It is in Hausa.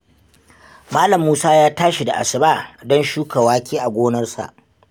Malam Musa ya tashi da asuba don shuka wake a gonarsa.